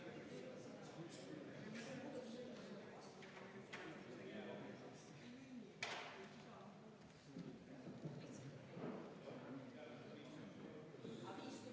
Me menetleme eelnõu 241, oleme jõudnud muudatusettepanekute juurde ja panen hääletusele esimese muudatus...